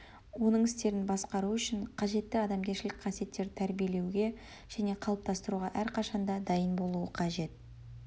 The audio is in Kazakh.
оның істерін басқару үшін қажетті адамгершілік қасиеттерді тәрбиелеуге және қалыптастыруға әрқашан да дайын болуы қажет